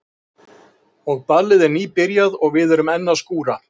Og ballið er nýbyrjað og við erum enn að skúra.